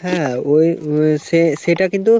হ্যাঁ ওই সে সেটা কিন্তু